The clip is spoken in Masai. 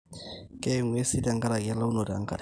keye ing'uesi tenkaraki elaunoto enkare